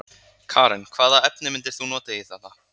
Karen: Hvaða efni myndir þú nota í þetta?